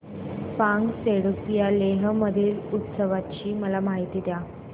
फ्यांग सेडुप या लेह मधील उत्सवाची मला माहिती द्या